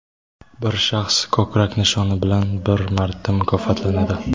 Bir shaxs ko‘krak nishoni bilan bir marta mukofotlanadi.